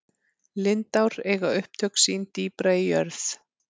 lindár eiga upptök sín dýpra í jörð